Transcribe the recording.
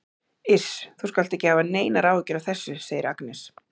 Iss, þú skalt ekki hafa neinar áhyggjur af þessu, segir Agnes.